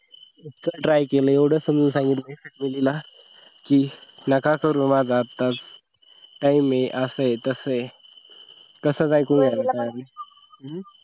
try केलं एवढ समजून सांगितल वहिनीला की नका करू माझा आत्ताच time आहे असं आहे तस आहे